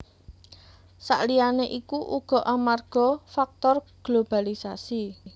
Saliyané iku uga amarga faktor globalisasi